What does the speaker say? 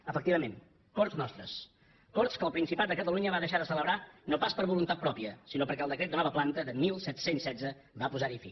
efectivament corts nostres corts que el principat de catalunya va deixar de celebrar no pas per voluntat pròpia sinó perquè el decret de nova planta de disset deu sis va posar hi fi